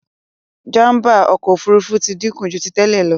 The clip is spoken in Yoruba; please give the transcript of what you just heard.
Jàmbá ọkọ òfurufú tí dínkù jù tí tèlé ló.